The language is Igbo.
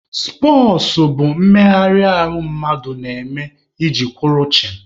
Spọtsụ bụ mmegharị ahụ mmadụ na-eme iji kwụrụ chịm.